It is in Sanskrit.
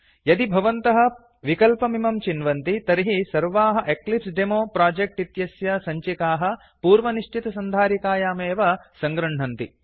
यदि भवन्तः विकल्पमिमं चिन्वन्ति तर्हि सर्वाः एक्लिप्सेदेमो प्रोजेक्ट इत्यस्य सञ्चिकाः पूर्वनिश्चितसन्धारिकायामेव सङ्गृह्णन्ति